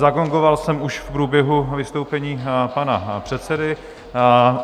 Zagongoval jsem už v průběhu vystoupení pana předsedy.